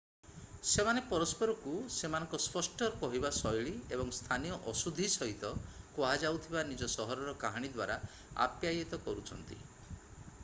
ସେମାନେ ପରସ୍ପରକୁ ସେମାନଙ୍କ ସ୍ପଷ୍ଟ କହିବା ଶୈଳୀ ଏବଂ ସ୍ଥାନୀୟ ଅଶୁଦ୍ଧି ସହିତ କୁହାଯାଉଥିବା ନିଜ ସହରର କାହାଣୀ ଦ୍ୱାରା ଆପ୍ୟାୟିତ କରୁଛନ୍ତି